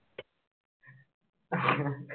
হ্যাঁ